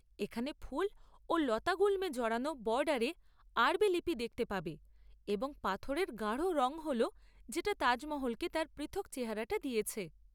এখানে ফুল ও লতাগুল্মে জড়ানো বর্ডারে আরবি লিপি দেখতে পাবে, এবং পাথরের গাঢ় রঙ হল যেটা তাজমহলকে তার পৃথক চেহারাটা দিয়েছে।